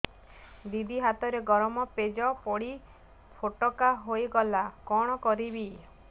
ଦିଦି ହାତରେ ଗରମ ପେଜ ପଡି ଫୋଟକା ହୋଇଗଲା କଣ କରିବି